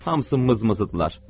Hamısı mızmızıdırlar.